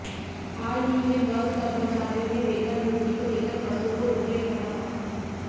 हाल ही में बस कर्मचारियों ने वेतन वृध्दि को लेकर बसों को रोके रखा था